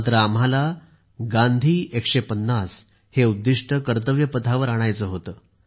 मात्र आम्हाला गांधी 150 हे उद्दीष्ट कर्तव्यपथावर आणायचे होते